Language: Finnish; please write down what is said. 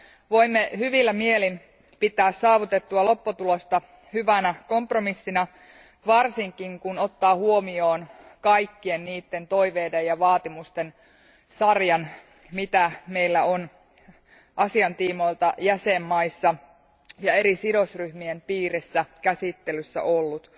Voimme hyvillä mielin pitää saavutettua lopputulosta hyvänä kompromissina, varsinkin kun ottaa huomioon kaikkien niitten toiveiden ja vaatimusten sarjan, mitä meillä on asian tiimoilta jäsenmaissa ja eri sidosryhmien piirissä käsittelyssä ollut.